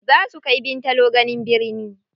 Zaa su kai Bintalo gani birni.